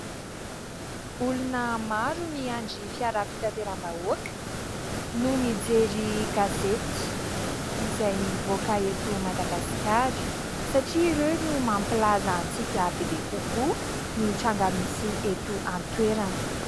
Olona maro miandry fiara fitanteram-bahoaka no mijery gazety izay mivoaka eto Madagasikara, satria ireo no mampilaza antsika bebe kokoa ny tranga misy eto an-toerana.